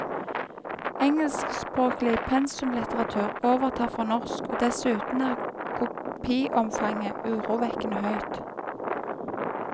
Engelskspråklig pensumlitteratur overtar for norsk, og dessuten er kopiomfanget urovekkende høyt.